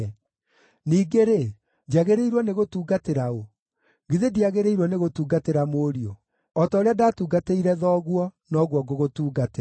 Ningĩ-rĩ, njagĩrĩirwo nĩgũtungatĩra ũũ? Githĩ ndiagĩrĩirwo nĩ gũtungatĩra mũriũ? O ta ũrĩa ndaatungatĩire thoguo, noguo ngũgũtuungatĩra.”